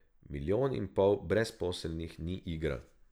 Milijon in pol brezposelnih ni igra.